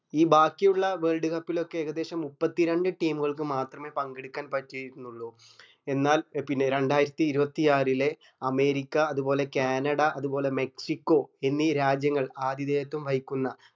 ഈ ബാക്കിയുള്ള world cup ലോക്കെ ഏകദേശം മുപ്പത്തി രണ്ട് team ഉകൾക്ക് മാത്രമേ പങ്കെടുക്കാൻ പറ്റിയിട്ടുള്ളു എന്നാൽ പിന്നെ രണ്ടായിരത്തി ഇരുപത്തിയാറിലെ അമേരിക്ക അതുപോലെ ക്യേനട അതുപോലെ മെക്സിക്കോ എന്നീ രാജ്യങ്ങൾ ആദിദേയത്വം വഹിക്കുന്ന